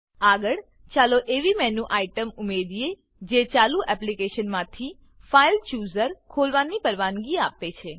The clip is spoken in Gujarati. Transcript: આગળ ચાલો એવી મેનુ આઇટમ ઉમેરીએ જે ચાલુ એપ્લીકેશનમાંથી ફાઇલચૂઝર ફાઈલ ચુઝર ખોલવાની પરવાનગી આપે છે